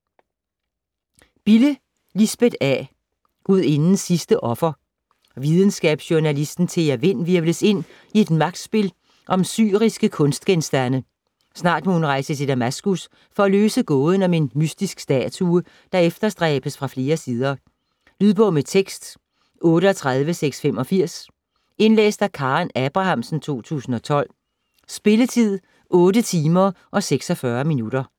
Bille, Lisbeth A.: Gudindens sidste offer Videnskabsjournalist Thea Vind hvirvles ind i et magtspil om syriske kunstgenstande. Snart må hun rejse til Damaskus for at løse gåden om en mystisk statue, der efterstræbes fra flere sider. Lydbog med tekst 38685 Indlæst af Karen Abrahamsen, 2012. Spilletid: 8 timer, 46 minutter.